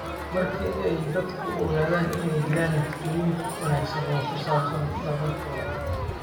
Marka ay dadku ogaadaan in ay jiraan natiijooyin wanaagsan oo ku saabsan dadaalkooda.